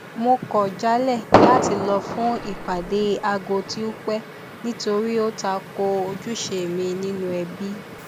mo kọ jálẹ láti lọ fún ìpàdé aago tí ó pẹ nítorí ó ta ko ojúṣe mi nínú ẹbí